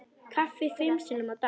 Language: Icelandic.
Kaffi fimm sinnum á dag.